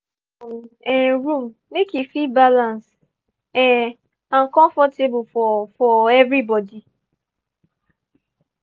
we dey share di common um room make e fit balance um and comfortable for for everybody.